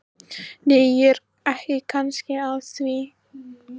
Nei, ég er ekki að því kannski.